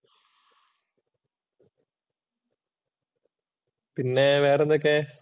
പിന്നെ വേറെ എന്തൊക്കെ?